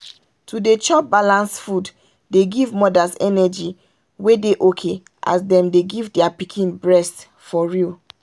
to dey chop balanced food dey give mothers energy wey dey okay as them dey give their pikin breast for real.